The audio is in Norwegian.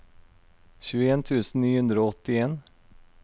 tjueen tusen ni hundre og åttien